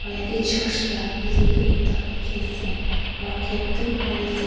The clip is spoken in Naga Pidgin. aro yate church la building beh ekta dekhe ase aro gate tu bon ase.